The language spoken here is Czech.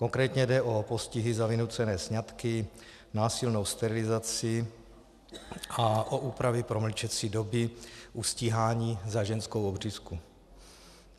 Konkrétně jde o postihy za vynucené sňatky, násilnou sterilizaci a o úpravy promlčecí doby u stíhání za ženskou obřízku.